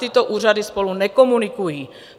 Tyto úřady spolu nekomunikují.